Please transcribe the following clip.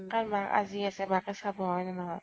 কাৰণ মাক আজি আছে, মাকে চাব, হয় নে নহয় ?